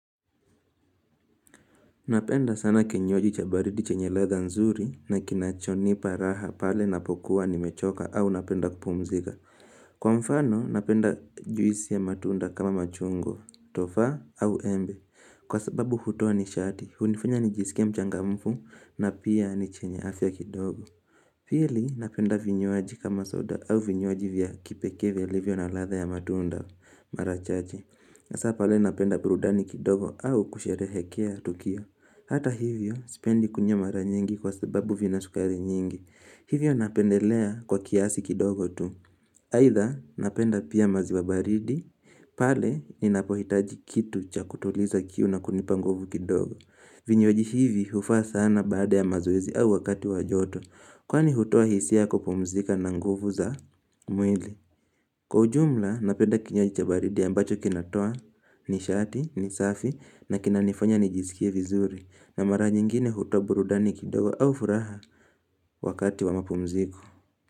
Napenda sana kinywaji cha baridi chenye ladha nzuri na kinachonipa raha pale napokuwa nimechoka au napenda kupumzika Kwa mfano napenda juisi ya matunda kama machungwa, tofaa au embe. Kwa sababu hutoa nishati, hunifanya nijisikie mchangamfu na pia ni chenye afya kidogo Pili napenda vinywaji kama soda au vinywaji vya kipekee vilivyo na ladha ya matunda mara chache. Hasa pale napenda burudani kidogo au kusherehekea tukio. Hata hivyo sipendi kunywa mara nyingi kwa sababu vina sukari nyingi. Hivyo napendelea kwa kiasi kidogo tu. Aidha napenda pia maziwa baridi, pale ninapohitaji kitu cha kutuliza kiu na kunipa nguvu kidogo. Vinywaji hivi hufaa sana baada ya mazoezi au wakati wa joto. Kwani hutoa hisia ya kupumzika na nguvu za mwili. Kwa ujumla, napenda kinywaji cha baridi ambacho kinatoa nishati, ni safi na kinanifanya nijizikie vizuri na mara nyingine hutoa burudani kidogo au furaha wakati wa mapumziko.